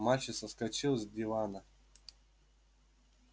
мальчик соскочил с дивана